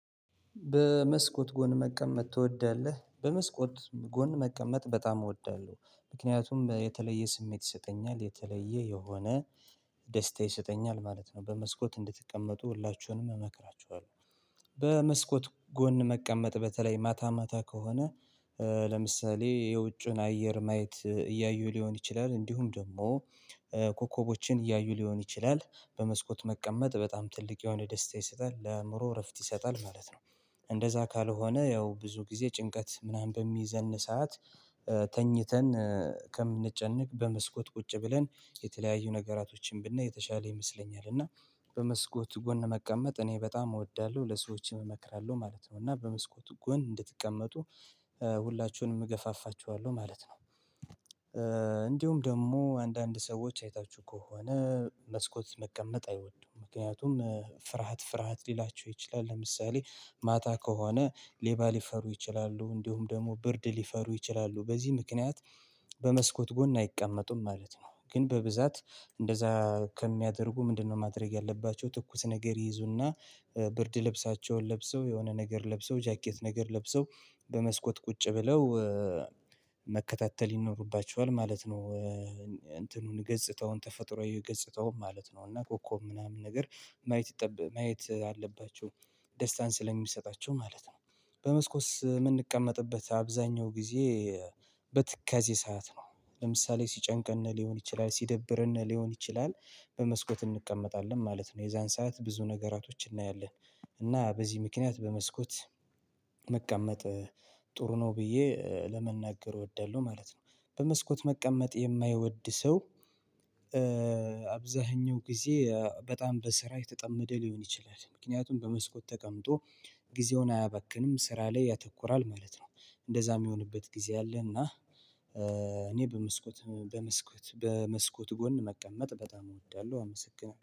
በመስኮት ጎን መቀመጥ ትወዳለህ በመስኮት ጎን መቀመጥ በጣም እወዳለሁ ምክንያቱም የተለየ ስሜት ይሰጠኛል የተለየ የሆነ ደስታ ይሰጠኛል ማለት ነው። በመስኮት እንድትቀመጡ ሁላችሁንም እመክራችኋለሁ። በመስኮት ጎን መቀመጥ በተለይ ማታ ማታ ከሆነ። የውጭን አየር ማየት እያዩ ሊሆን ይችላል እንዲሁም ደግሞ ኮከቦችን እያዩ ሊሆን ይችላል በመስኮት መቀመጥ በጣም ትልቅ የሆነ ደስታ ይሰጣል ለአእምሮ እረፍት ይሰጣል ማለት ነው። እንደዛ ካልሆነ ያው ብዙ ጊዜ ጭንቀት ምናምን በሚይዘን ሰዓት። ተኝተን ከምንጨነቅ በመስኮት ቁጭ ብለን የተለያዩ ነገራቶችን ብናይ የተሻለ ይመስለኛል። እና በመስኮት ጎን መቀመጥ እኔ በጣም እወዳለሁ ለሰዎችም እመክራለው ማለት ነው። እና በመስኮት ጎን እንድትቀመጡ ሁላችሁንም እገፋፋችኋለሁ ማለት ነው። እንዲሁም ደግሞ አንዳንድ ሰዎች አይታችሁ ከሆነ። መስኮት መቀመጥ አይወዱም ምክንያቱም ፍርሃት ፍርሃት ሊላቸው ይችላል። ለምሳሌ ማታ ከሆነ ሌባ ሊፈሩ ይችላሉ። እንዲሁም ደግሞ ብርድ ሊፈሩ ይችላሉ በዚህ ምክንያት በመስኮት ጎን አይቀመጡም ማለት ነው። ግን በብዛት እንደዛ ከሚያደርጉ ምንድን ነው? ማድረግ ያለባቸው ትኩስ ነገር ይይዙ እና ብርድ ልብሳቸውን ለብሰው የሆነ ነገር ለብሰው ጃኬት ነገር ለብሰው በመስኮት ቁጭ ብለው መከታተል ይኖርባቸዋል ማለት ነው። እንትኑን ገጽታውን ተፈጥሮአዊ ገጽታውን ማለት ነው እና ኮኮብ ምናምን ነገር ማየት ማየት አለባቸው ደስታን ስለሚሰጣቸው ማለት ነው። በመስኮት የምንቀመጥበት አብዛኛው ጊዜ በትካዜ ሰዓት ነው። ለምሳሌ ሲጨንቀን ሊሆን ይችላል ሲደብረን ሊሆን ይችላል። በመስኮት እንቀመጣለን ማለት ነው የዛን ሰዓት ብዙ ነገራቶች እናያለን። እና በዚህ ምክንያት በመስኮት መቀመጥ ጥሩ ነው ብዬ ለመናገር እወዳለው ማለት ነው። በመስኮት መቀመጥ የማይወድ ሰው። አብዛኛው ጊዜ በጣም በስራ የተጠመደ ሊሆን ይችላል ምክንያቱም በመስኮት ተቀምጦ ጊዜውን አያባክንም ስራ ላይ ያተኩራል ማለት ነው። እንደዛ የሚሆንበት ጊዜ አለ። እና እኔ በመስኮት በመስኮት በመስኮት ጎን መቀመጥ በጣም እወዳለሁ አመሰግናለሁ